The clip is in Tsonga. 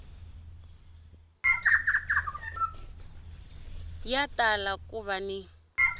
ya tala ku va ni